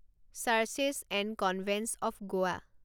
searches and convents of Goa